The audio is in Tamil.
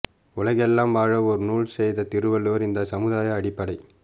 உலகெலாம் வாழ ஒரு நூல் செய்த திருவள்ளுவர் இந்தச் சமுதாய அடிப்படை